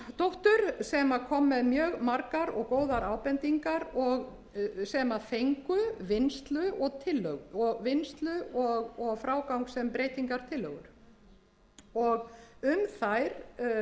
guðjónsdóttur sem kom með mjög margar og góðar ábendingar sem fengu vinnslu og frágang sem breytingartillögur um þær var samstaða í